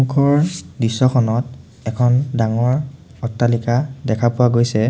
দৃশ্যখনত এখন ডাঙৰ অট্টালিকা দেখা পোৱা গৈছে।